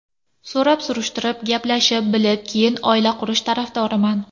So‘rab-surishtirib, gaplashib, bilib, keyin oila qurish tarafdoriman.